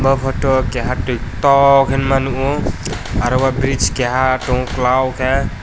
bo photo keha tui toow hingma nukgo aro o bridge keha tongo klau khe.